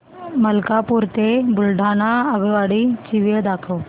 मलकापूर ते बुलढाणा आगगाडी ची वेळ दाखव